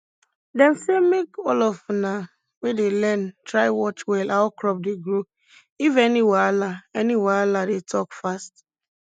dem say make all of una we dey learn try watch well how crop dey grow if any wahala any wahala dey talk fast